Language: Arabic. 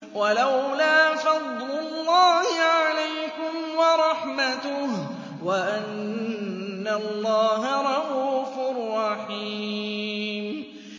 وَلَوْلَا فَضْلُ اللَّهِ عَلَيْكُمْ وَرَحْمَتُهُ وَأَنَّ اللَّهَ رَءُوفٌ رَّحِيمٌ